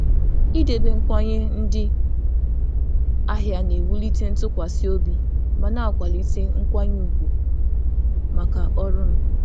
Ịnọgide na-ekwe nkwa nye ndị ahịa na-ewulite ntụkwasị obi ma na-akwado nkwanye ùgwù maka ọrụ m.